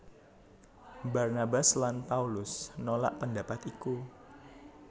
Barnabas lan Paulus nolak pendapat iku